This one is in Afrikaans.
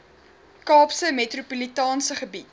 kaapse metropolitaanse gebied